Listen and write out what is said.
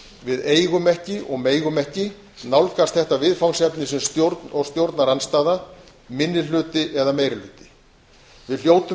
við eigum ekki og megum ekki nálgast þetta viðfangsefni sem stjórn eða stjórnarandstaða minni hluti eða meiri hluti við hljótum